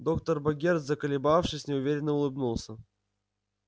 доктор богерт заколебавшись неуверенно улыбнулся